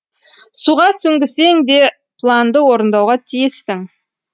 суға сүңгісең де планды орындауға тиіссің